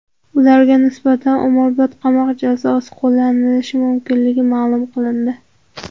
Ularga nisbatan umrbod qamoq jazosi qo‘llanilishi mumkinligi ma’lum qilindi.